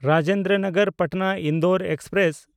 Rajendra Nagar Patna Indore express